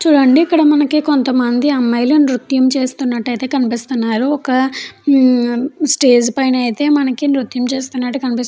చూడండి ఇక్కడ మనకి కొంతమంది అమ్మాయిలు నృత్యం చేస్తున్నట్టు ఐతే కనిపిస్తూ ఉన్నారు ఒక స్టేజి పైన ఐతే మనకి నృత్యం చేస్తునట్టు కనిపిస్తు --